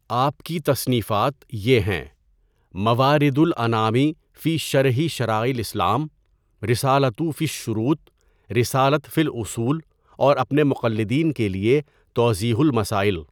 آپ کی تصنیفات یہ ہیں: مَوَارِدُ الْاَنَامِ فِی شَرْحِ شَرَائِعِ الْاِسْلَام، رِسَالَۃُ فِی الشُّرُوط، رِسَالَۃ فِی الْاُصُول اور اپنے مقلدین کے لیے تَوْضِیْحُ الْمَسَائِل۔